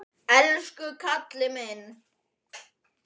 Elsku kallinn minn.